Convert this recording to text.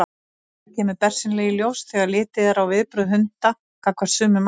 Þetta kemur bersýnilega í ljós þegar litið er á viðbrögð hunda gagnvart sumum ávöxtum.